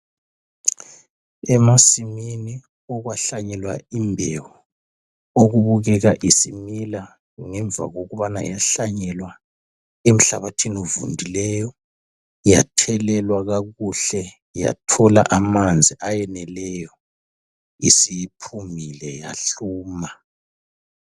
Emasimini okwahlanyelwa imbewu. Okubukeka isimila ngemva kokubana yahlanyelwa emhlabathini ovundileyo. Yathelelwa kakuhle yathola amanzi ayeneleyo. Isiphumile yahluma.